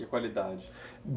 E a qualidade?